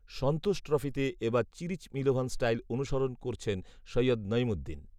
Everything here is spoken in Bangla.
সন্তোষ ট্রফিতে এ বার চিরিচ মিলোভান স্টাইল অনুসরণ করছেন সৈয়দ নঈমুদ্দিন